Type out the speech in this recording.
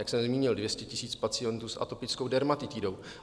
Jak jsem zmínil - 200 000 pacientů s atopickou dermatitidou.